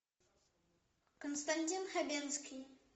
константин хабенский